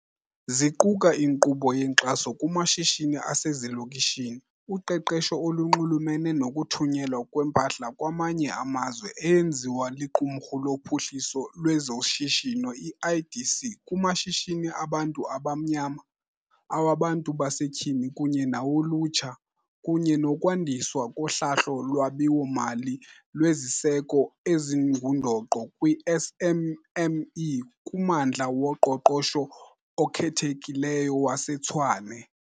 Ziquka inkqubo yenkxaso kumashishini asezilokishini, uqeqesho olunxulumene nokuthunyelwa kwempahla kwamanye amazwe eyenziwa liQumrhu loPhuhliso lwezoShishino, i-IDC, kumashishini abantu abamnyama, awabantu basetyhini kunye nawolutsha, kunye nokwandiswa kohlahlo lwabiwo-mali lweziseko ezingundoqo kwii-SMME kuMmandla woQoqosho oKhethekileyo waseTshwane.